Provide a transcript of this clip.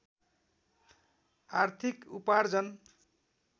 आर्थिक उपार्जन